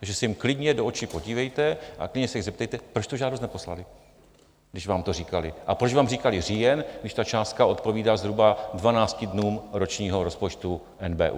Takže se jim klidně do očí podívejte a klidně se jich zeptejte, proč tu žádost neposlali, když vám to říkali, a proč vám říkali říjen, když ta částka odpovídá zhruba 12 dnům ročního rozpočtu NBÚ.